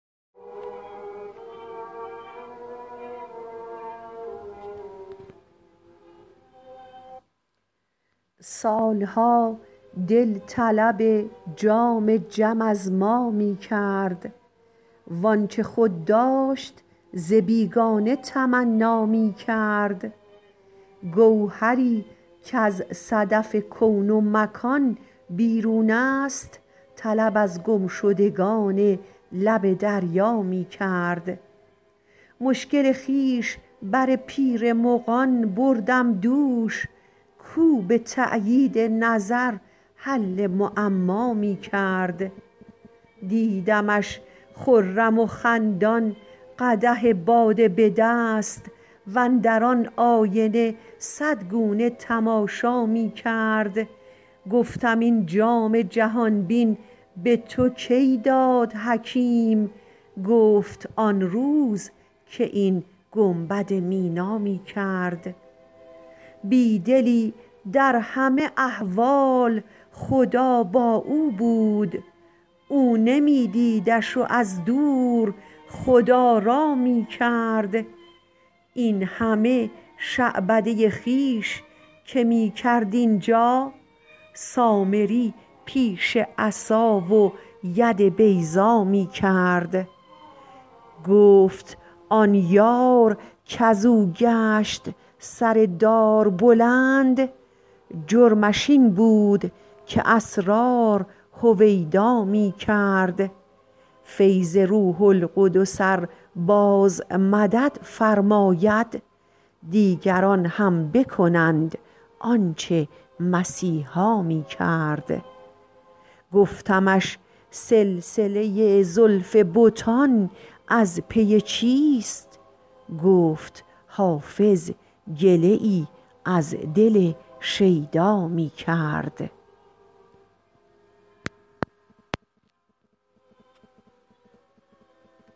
سال ها دل طلب جام جم از ما می کرد وآنچه خود داشت ز بیگانه تمنا می کرد گوهری کز صدف کون و مکان بیرون است طلب از گمشدگان لب دریا می کرد مشکل خویش بر پیر مغان بردم دوش کاو به تأیید نظر حل معما می کرد دیدمش خرم و خندان قدح باده به دست واندر آن آینه صد گونه تماشا می کرد گفتم این جام جهان بین به تو کی داد حکیم گفت آن روز که این گنبد مینا می کرد بی دلی در همه احوال خدا با او بود او نمی دیدش و از دور خدارا می کرد این همه شعبده خویش که می کرد اینجا سامری پیش عصا و ید بیضا می کرد گفت آن یار کز او گشت سر دار بلند جرمش این بود که اسرار هویدا می کرد فیض روح القدس ار باز مدد فرماید دیگران هم بکنند آن چه مسیحا می کرد گفتمش سلسله زلف بتان از پی چیست گفت حافظ گله ای از دل شیدا می کرد